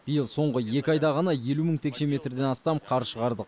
биыл соңғы екі айда ғана елу мың текше метрден астам қар шығардық